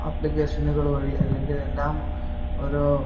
ആപ്ലിക്കേഷനുകള്‍ വഴി, അല്ലെങ്കില്‍ എല്ലാം ഓരോ